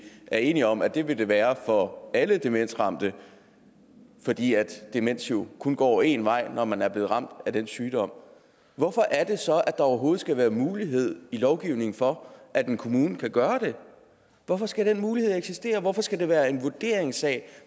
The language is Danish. er enige om det vil være for alle demensramte fordi demens jo kun går én vej når man er blevet ramt af den sygdom hvorfor er det så at der overhovedet skal være mulighed i lovgivningen for at en kommune kan gøre det hvorfor skal den mulighed eksistere hvorfor skal det være en vurderingssag